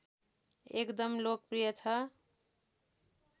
एकदम लोकप्रिय छ